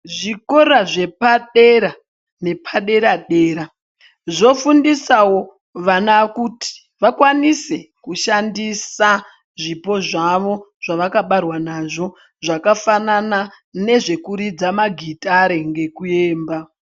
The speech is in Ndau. Zvikora zvepadera nepadera-dera zvofundisawo vana kuti vakwanise kushandisa zvipo zvavo zvavakabarwa nazvo zvakafanana nezvekuridza magitere ngekuemba.